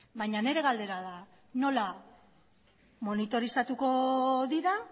baina nire galdera da nola monitorizatuko dira